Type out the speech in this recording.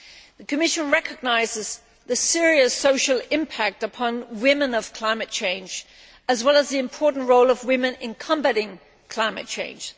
The Commission recognises the serious social impact upon women of climate change, as well as the important role of women in combating climate change.